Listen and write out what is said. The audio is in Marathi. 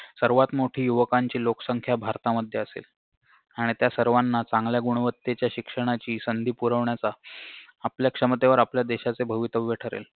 सर्वात मोठी युवकांची लोकसंख्या भारतामध्ये असेल आणि त्या सर्वाना चांगल्या गुणवत्तेच्या शिक्षणाची संधी पुरवण्याचा आपल्या क्षमतेवर आपल्या देशाचे भवितव्य ठरेल